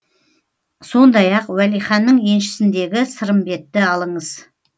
сондай ақ уәлиханның еншісіндегі сырымбетті алыңыз